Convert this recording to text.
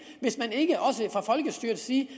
hvis man ikke også fra folkestyrets side